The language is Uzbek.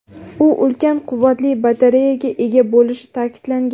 U ulkan quvvatli batareyaga ega bo‘lishi ta’kidlangan.